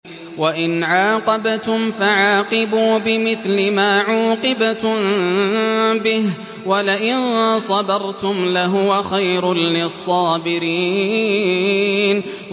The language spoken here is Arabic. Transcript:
وَإِنْ عَاقَبْتُمْ فَعَاقِبُوا بِمِثْلِ مَا عُوقِبْتُم بِهِ ۖ وَلَئِن صَبَرْتُمْ لَهُوَ خَيْرٌ لِّلصَّابِرِينَ